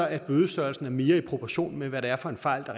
at bødestørrelsen er mere i proportion med hvad det er for en fejl